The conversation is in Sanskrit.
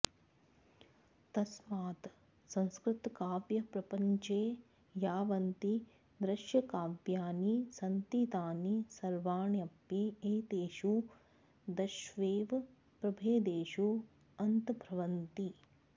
तस्मात् संस्कृतकाव्यप्रपञ्चे यावन्ति दृश्यकाव्यानि सन्ति तानि सर्वाण्यपि एतेषु दशस्वेव प्रभेदेषु अन्तर्भवन्ति